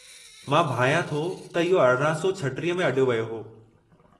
मां भायां थो त इहो 1836 में अॾियो वियो हो।